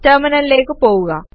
ടെർമിനലിലേക്ക് പോകുക